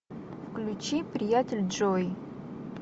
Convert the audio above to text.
включи приятель джой